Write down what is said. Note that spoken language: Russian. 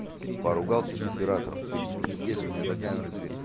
поругался с оператором сегодня пиздец у меня такая внатуре